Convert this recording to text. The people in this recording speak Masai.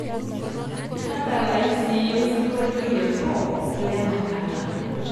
tadalayu siiiyie osingolio le pop lenakata